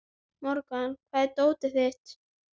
Morgan, hvar er dótið mitt?